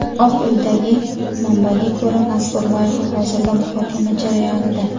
Oq uydagi manbaga ko‘ra, mazkur loyiha hozirda muhokama jarayonida.